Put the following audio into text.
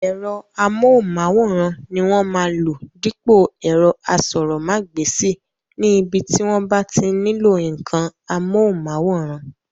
Ẹ̀rọ amóhùnmáwòrán ni wọ́n máa lò dípò ẹ̀rọ asọ̀rọ̀mágbèsì ní ibi tí wọ́n bá ti nílò ǹǹkan amóhùnmáwòrán